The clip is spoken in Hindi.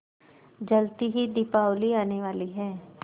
जल्दी ही दीपावली आने वाली है